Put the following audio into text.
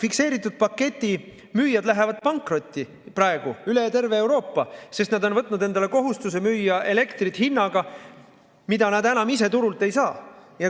Fikseeritud pakettide müüjad lähevad praegu üle terve Euroopa pankrotti, sest nad on võtnud endale kohustuse müüa elektrit hinnaga, millega nad seda enam ise turult ei saa.